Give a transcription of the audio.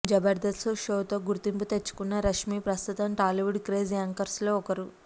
జబర్దస్త్ షోతో గుర్తింపు తెచ్చుకున్న రష్మీ ప్రస్తుతం టాలీవుడ్ క్రేజీ యాంకర్స్ లో ఒకరు